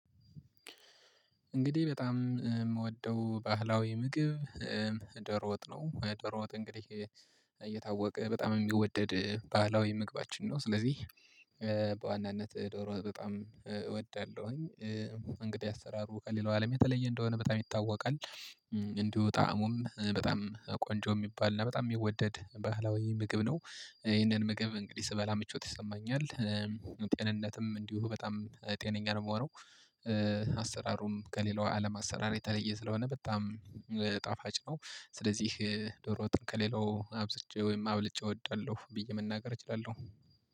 እንግዲህ በጣም ምወደው ባህላዊ ምግብ ዶሮ ወጥ ነው። ዶሮ ወጥ እንግዲህ እየታወቀ በጣም የሚወደድ ባህላዊ ምግባችን ነው። ስለዚህ በዋናነት ዶሮ በጣም እወዳለሁኝ። እንግዲህ አሰራሩ ከሌላው አለም የተለየ እንደሆነ በጣም ይታወቃል። እንዲሁ ጣእሙም በጣም ቆንጆ የሚባል እና በጣም ሚወደድ ባህላዊ ምግብ ነው። ይህንን ምግብ እንግዲህ ስበላ ምቾት ይሰማኛል። ጤንነትም እንዲሁ በጣም ጤነኛ ነው ምሆነው። አሰራሩም ከሌላው አለም አሰራር የተለየ ስለሆነ በጣም ጣፋጭ ነው። ስለዚህ ዶሮ ወጥን ከሌላው አብዝቼ ወይም አብልጬ እወዳለሁ ብዬ መናገር እችላለሁ።